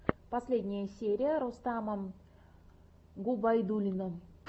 последняя серия рустама губайдуллина